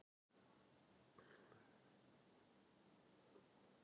Erum við viljugir til að standa upp og axla ábyrgð þegar illa gengur?